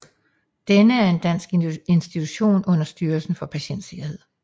Denne er en dansk institution under Styrelsen for Patientsikkerhed